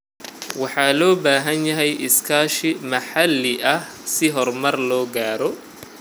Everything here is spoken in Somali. Waxaa loo baahan yahay iskaashi maxalli ah si horumar loo gaaro.